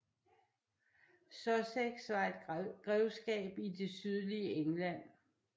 Sussex var et grevskab i det sydlige England